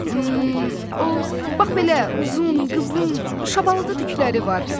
Bilirsinizmi, o bax belə uzun, qıvrım şabalıdı tükləri var.